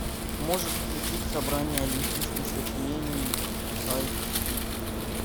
можешь включить собрание олимпийских сочинений айч ди